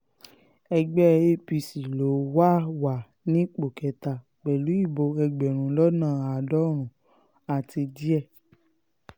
ẹgbẹ́ apc ló wà wà ní ipò kẹta pẹ̀lú ìbò ẹgbẹ̀rún lọ́nà àádọ́rùn-ún àti díẹ̀